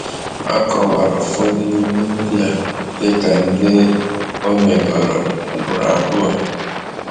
Akọwara ụfọdụ n’ime ndị a dịka ndi omegoro ugboro abụọ.